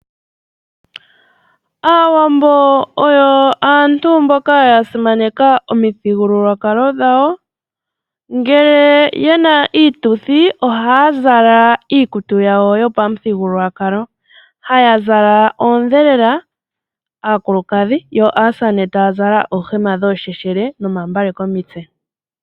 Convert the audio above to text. Aawambo oyo aantu mboka yasimaneka omithigululwakalo dhawo, ngele yena iituthi ohaya zala iikutu yawo yopamuthigululwakalo. Haya zala oodhelela aakulukadhi, yo aasamane taya zala oohema dhoosheshele nomambale komitse.